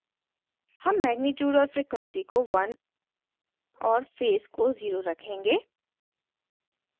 हम magnitude और frequency को 1 और phase को 0 रखेंगे